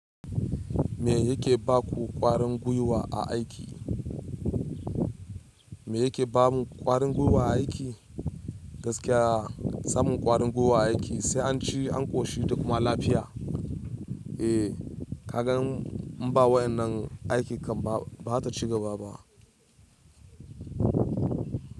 Me yake ba ku ƙwarin gwiwa a aiki? Me yake ba mu ƙwarin gwiwa a aiki? Gaskiya samun ƙwarin gwiwa a aiki sai an ci, an ƙoshi da kuma lafiya. Eh, ka ga in ba waɗannan aiki kam bazata ci gaba ba.